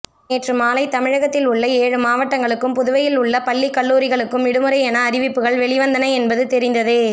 நேற்று மாலை தமிழகத்தில் உள்ள ஏழு மாவட்டங்களுக்கும் புதுவையில் உள்ள பள்ளி கல்லூரிகளுக்கும் விடுமுறை எனஅறிவிப்புகள் வெளிவந்தன என்பது தெரிந்ததே